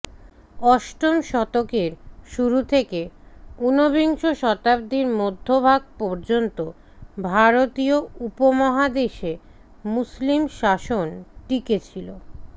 অষ্টম শতকের শুরু থেকে উনবিংশ শতাব্দীর মধ্যভাগ পর্যন্ত ভারতীয় উপমহাদেশে মুসলিম শাসন টিকে ছিলো